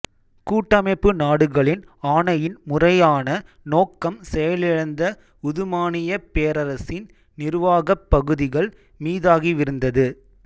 கூட்டமைப்பு நாடுகளின் ஆணையின் முறையான நோக்கம் செயலிழந்த உதுமானியப் பேரரசின் நிருவாகப் பகுதிகள் மீதாகவிருந்தது